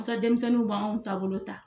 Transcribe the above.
denmisɛnninw b'anw taabolo ta.